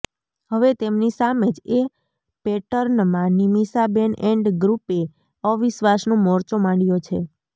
હવે તેમની સામે જ એ પેટર્નમાં નિમિષાબેન એન્ડ ગૃપે અવિશ્વાસનો મોરચો માંડ્યો છે